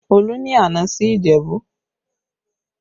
Olú ni àná sí Ìjẹ̀bú